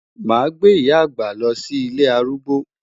Màá gbé ìyá àgbà lọ sí ilé arúgbó.